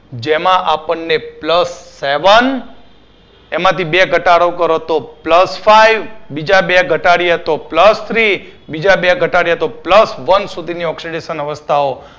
જેમાં આપણને plus seven એમાંથી બે ઘટાડો કરો તો plus five બીજા બે ઘટાડીએ તો plus three બીજા બે ઘટાડીએ તો plus one સુધીની oxidation અવસ્થાઓ